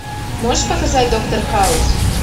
можешь показать доктор хаус